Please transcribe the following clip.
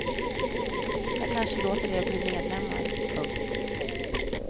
Jag kanske låter er bli medlemmar. punkt